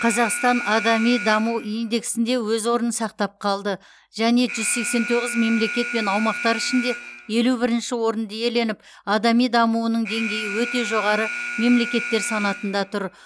қазақстан адами даму индексінде өз орнын сақтап қалды және жүз сексен тоғыз мемлекет пен аумақтар ішінде елу бірінші орынды иеленіп адами дамуының деңгейі өте жоғары мемлекеттер санатында тұр